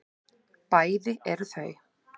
Bæði eru þau